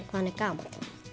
hvað hann er gamall